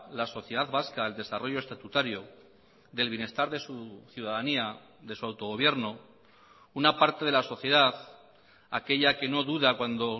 la sociedad vasca el desarrollo estatutario del bienestar de su ciudadanía de su autogobierno una parte de la sociedad aquella que no duda cuando